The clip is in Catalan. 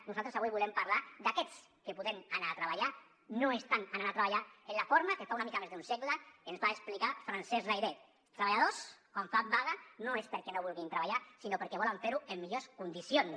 nosaltres avui volem parlar d’aquests que podent anar a treballar no estan anant a treballar en la forma que fa una mica més d’un segle ens va explicar francesc layret els treballadors quan fa vaga no és perquè no vulguin treballar sinó perquè volen fer ho en millors condicions